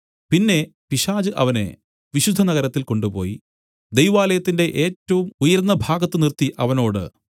പിന്നെ പിശാച് അവനെ വിശുദ്ധനഗരത്തിൽ കൊണ്ടുപോയി ദൈവാലയത്തിന്റെ ഏറ്റവും ഉയർന്ന ഭാഗത്ത് നിർത്തി അവനോട്